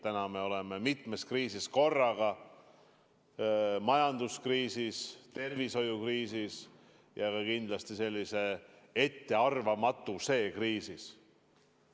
Täna me oleme mitmes kriisis korraga: majanduskriisis, tervishoiukriisis ja kindlasti ka sellises ettearvamatuse kriisis.